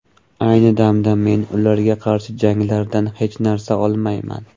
Ayni damda men ularga qarshi janglardan hech narsa olmayman.